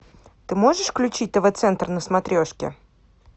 ты можешь включить тв центр на смотрешке